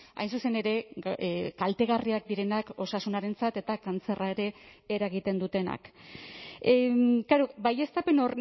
hain zuzen ere kaltegarriak direnak osasunarentzat eta kantzerra ere eragiten dutenak klaro baieztapen